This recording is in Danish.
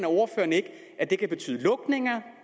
ordføreren ikke at det kan betyde lukning